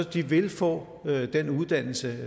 de vil få den uddannelse